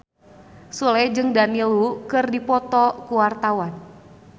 Sule jeung Daniel Wu keur dipoto ku wartawan